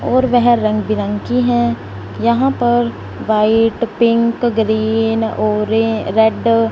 और वेह रंग बिरंगी हैं यहां पर white pink green orange red --